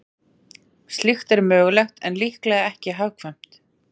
Slíkt er mögulegt en líklega ekki hagkvæmt.